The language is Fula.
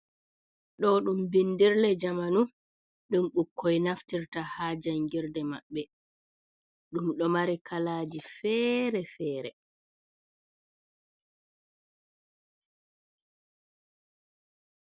Ɗo ɗum bindirle jamanu ɗum bukkoi naftirta ha jangirde maɓɓe, ɗum ɗo mari kalaji fere-fere.